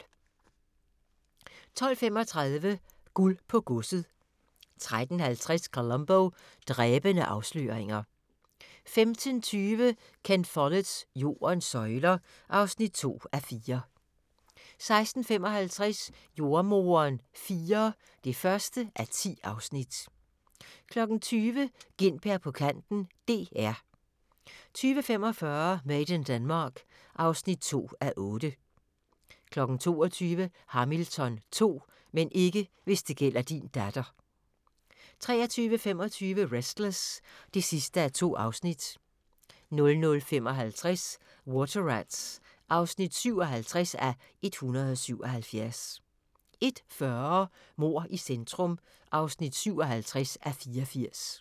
12:35: Guld på godset 13:50: Columbo: Dræbende afsløringer 15:20: Ken Folletts Jordens søjler (2:4) 16:55: Jordemoderen IV (1:10) 20:00: Gintberg på kanten - DR 20:45: Made in Denmark (2:8) 22:00: Hamilton 2 – men ikke hvis det gælder din datter 23:25: Restless (2:2) 00:55: Water Rats (57:177) 01:40: Mord i centrum (57:84)